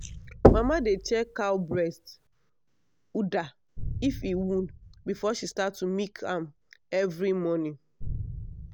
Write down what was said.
mama dey check cow breast (udder) if e wound before she start to milk am every morning.